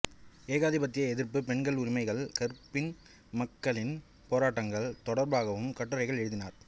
ஏகாதிபத்திய எதிர்ப்பு பெண்களின் உரிமைகள் கறுப்பின மக்களின் போராட்டங்கள் தொடர்பாகவும் கட்டுரைகள் எழுதினார்